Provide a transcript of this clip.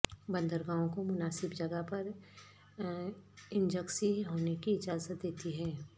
بندرگاہوں کو مناسب جگہ پر انجکسی ہونے کی اجازت دیتی ہے